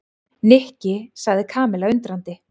Nikki sagði Kamilla undrandi.